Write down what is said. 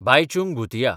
Bhaichung Bhutia